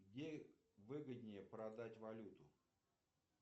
где выгоднее продать валюту